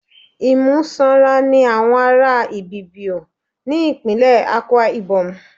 Imú sanra ni àwọn ará Ibibio, ní ìpínlè Akwa Íbọ́mù.